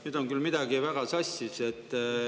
Nüüd on küll midagi väga sassis.